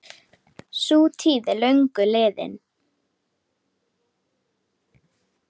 Sú tíð er löngu liðin.